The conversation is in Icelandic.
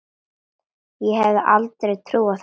Ég hefði aldrei trúað því.